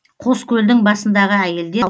қоскөлдің басындағы әйелдер